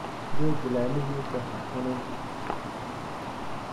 Geedh laamihiisa ha cunin.